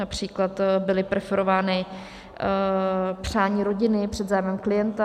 Například byla preferována přání rodiny před zájmem klienta.